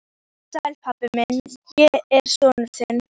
Sæll, pabbi minn, ég er sonur þinn.